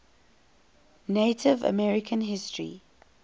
native american history